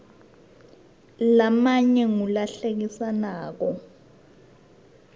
lamanye ngula hlekisako